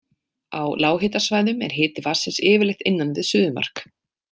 Á lághitasvæðum er hiti vatnsins yfirleitt innan við suðumark.